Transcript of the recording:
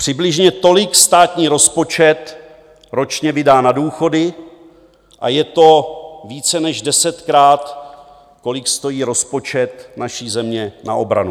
Přibližně tolik státní rozpočet ročně vydá na důchody a je to více než desetkrát, kolik stojí rozpočet naší země na obranu.